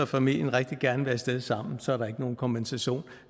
familien rigtig gerne vil af sted sammen så er der ikke nogen kompensation